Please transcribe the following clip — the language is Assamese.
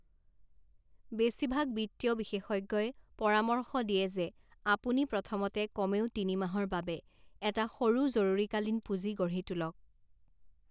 বেছিভাগ বিত্তীয় বিশেষজ্ঞই পৰামৰ্শ দিয়ে যে আপুনি প্ৰথমতে কমেও তিনিমাহৰ বাবে এটা সৰু জৰুৰীকালীন পুঁজি গঢ়ি তোলক।